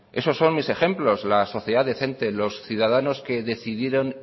eso son mis ejemplos la sociedad decente los ciudadanos que decidieron